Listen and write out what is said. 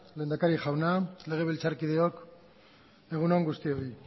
lehendakari jauna legebiltzarkideok egun on guztioi